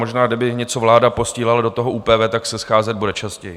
Možná kdyby něco vláda posílala do toho ÚPV, tak se scházet bude častěji.